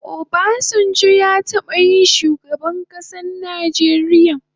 Obasanjo ya taba yin shugaban kasan Nijeria